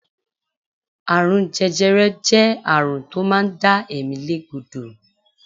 Àrùn jẹjẹrẹ jẹ́ àrùn tó máa ń dá ẹ̀mí lé gbódò.